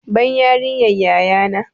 Ban yariyar yaya na!